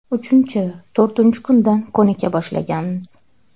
Uchinchi, to‘rtinchi kundan ko‘nika boshlaganmiz.